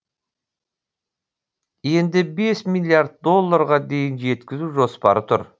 енді бес миллиард долларға дейін жеткізу жоспары тұр